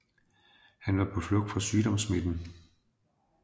Han var på flugt fra sygdomssmitten